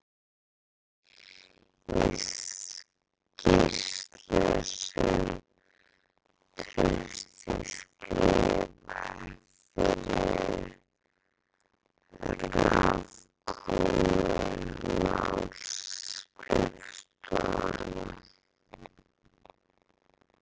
Í skýrslu sem Trausti skrifaði fyrir Raforkumálaskrifstofuna